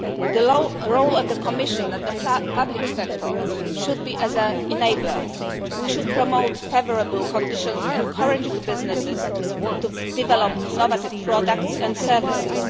The role of the Commission in the public sector should be as an enabler. We should promote favourable conditions and encourage businesses to develop innovative products and services.